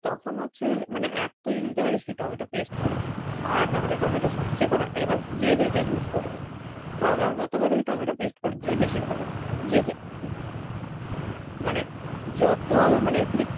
তখন হচ্ছে, মানে এক তুই দিতে পারিস কি tomato paste করে আর না হলে tomato sauce যেকোনো একটা এবার যে যেটা করে use আরকি তো আমার বক্তব্য করে দিলেই বেশি ভাল, তবে যে যেটা আরকি। মানে যত মানে,